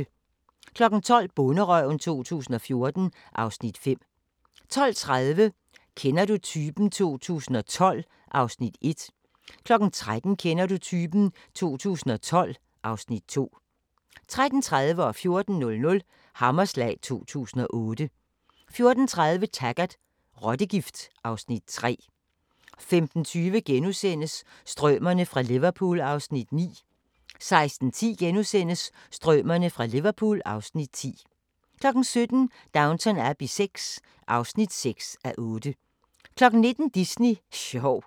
12:00: Bonderøven 2014 (Afs. 5) 12:30: Kender du typen? 2012 (Afs. 1) 13:00: Kender du typen? 2012 (Afs. 2) 13:30: Hammerslag 2008 14:00: Hammerslag 2008 14:30: Taggart: Rottegift (Afs. 3) 15:20: Strømerne fra Liverpool (Afs. 9)* 16:10: Strømerne fra Liverpool (Afs. 10)* 17:00: Downton Abbey VI (6:8) 19:00: Disney sjov